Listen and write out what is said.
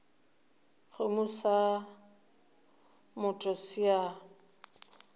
kgomo sa motho se a